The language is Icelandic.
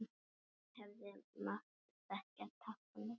Ég hefði mátt þekkja táknið.